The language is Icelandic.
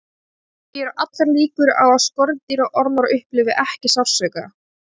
Því eru allar líkur á að skordýr og ormar upplifi ekki sársauka.